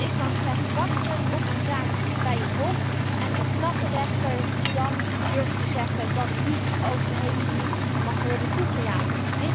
Het is dan slechts wachten op een zaak bij het Hof en een knappe rechter die durft te zeggen dat het niet over de hele Unie mag worden toegelaten.